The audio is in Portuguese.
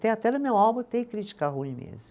Tem, até no meu álbum tem crítica ruim mesmo.